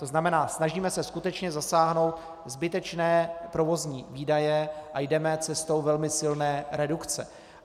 To znamená, snažíme se skutečně zasáhnout zbytečné provozní výdaje a jdeme cestou velmi silné redukce.